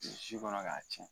si kɔnɔ k'a tiɲɛ